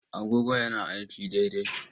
Agogon yana aiki daidai?